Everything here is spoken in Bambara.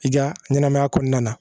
I ka ɲɛnɛmaya kɔnɔna na